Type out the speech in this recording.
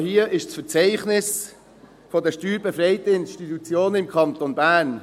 Dies ist das Verzeichnis der steuerbefreiten Institutionen im Kanton Bern